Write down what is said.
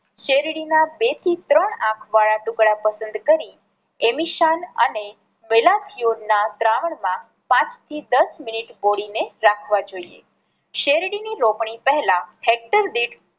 શેરડી ના બે થી ત્રણ આંખ વાળા ટુકડા પસંદ કરી અને ના દ્રાવણ માં પાંચ થી યાસ મિનિટ બોળી ને રાખવા જોઈએ. શેરડી ની રોપણી પહેલા હેક્ટર દીઠ